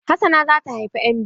Hassana za ta haifa ƴan biyu.